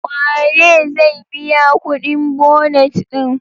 Waye zai biya kudin bonet din?